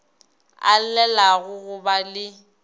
a llelago go ba le